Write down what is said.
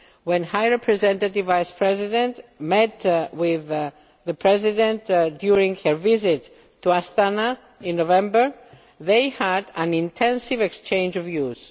When the High Representative Vice President met with the President during a visit to Astana in November, they had an intensive exchange of views.